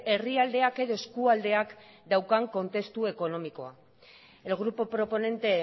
herrialdeak edo eskualdeak daukan testuinguru ekonomikoa el grupo proponente